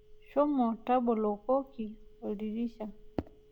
Shomo tabolokoki oldirisha.